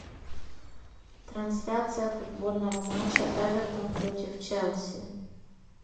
трансляция футбольного матча эвертон против челси